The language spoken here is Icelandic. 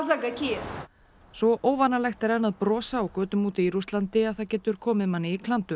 svo óvanalegt er enn að brosa á götum úti í Rússlandi að það getur komið manni í klandur